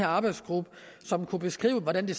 arbejdsgruppe som kunne beskrive hvordan vi